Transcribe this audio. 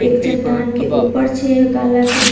एक चट्टान के ऊपर छै काला के जू --